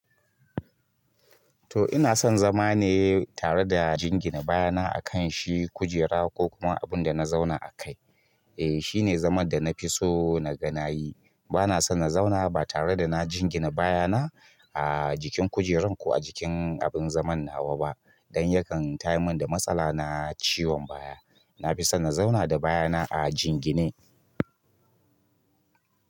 To ina son zama ne tare da jingina baya na a kan shi kujera ko kuma abun da na zauna a kai. Eh shine zaman da na fi so na ga na yi. Bana son na zauna ba tare da na jingina baya na a jikin kujerar ko a jikin abin zaman nawa ba. Don yakan tayarmin da matsala na ciwon baya. Na fi son na zauna da baya na a jingine.